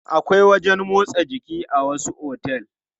Akwai wajen motsa jiki a wasu otel.